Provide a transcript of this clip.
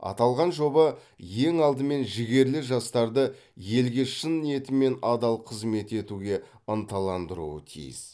аталған жоба ең алдымен жігерлі жастарды елге шын ниетімен адал қызмет етуге ынталандыруы тиіс